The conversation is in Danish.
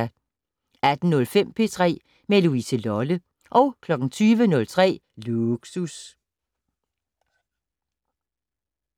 18:05: P3 med Louise Lolle 20:03: Lågsus